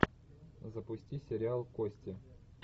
запусти сериал кости